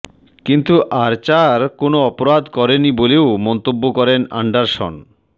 কিন্তু আর্চার কোনও অপরাধ করেনি বলেও মন্তব্য করেন অ্যান্ডারসন